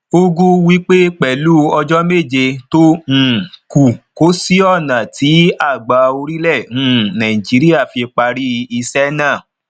ugwu wípé pẹlu ọjọ méje tó um kù kò sí ònà tí àgbà orílẹ um nàìjíríà fi parí um iṣẹ náà